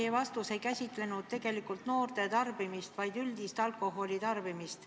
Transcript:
Teie vastus minule ei puudutanud noorte tarbimist, vaid üldist alkoholi tarbimist.